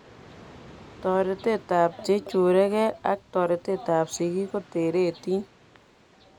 Toretet ab cheicherukee ak toretab sigik kotereti